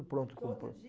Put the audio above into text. pronto compro. Todo dia